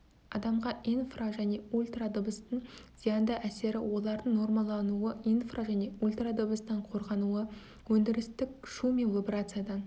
адамға инфра және ультрадыбыстың зиянды әсері олардың нормалануы инфра және ультрадыбыстан қорғануы өндірістік шу мен вибрациядан